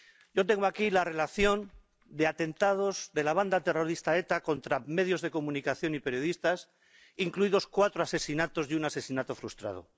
Yo tengo aquí la relación de atentados de la banda terrorista ETA contra medios de comunicación y periodistas, incluidos cuatro asesinatos y un asesinato frustrado.